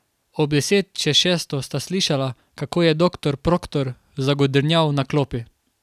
Ob deset čez šesto sta slišala, kako je doktor Proktor zagodrnjal na klopi.